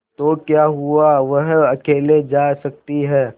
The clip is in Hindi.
तो क्या हुआवह अकेले जा सकती है